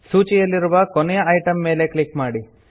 ಸೂಚಿಯಲ್ಲಿರುವ ಕೊನೆಯ ಐಟಮ್ ಮೇಲ್ ಕ್ಲಿಕ್ ಮಾಡಿ